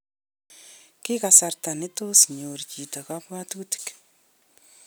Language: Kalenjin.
Ki kasarta nitoos nyor chito kabwatutik